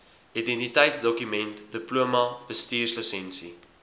identiteitsdokument diploma bestuurslisensie